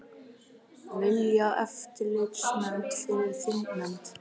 Vilja eftirlitsnefnd fyrir þingnefnd